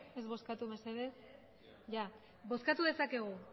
ez bozkatu mesedez bozkatu dezakegu